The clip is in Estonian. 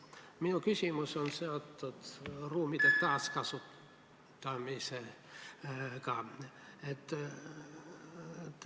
Minu küsimus on seotud ruumide taaskasutamisega.